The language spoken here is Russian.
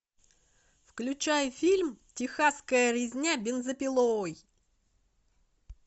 включай фильм техасская резня бензопилой